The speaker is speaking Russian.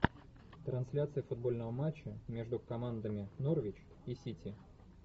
трансляция футбольного матча между командами норвич и сити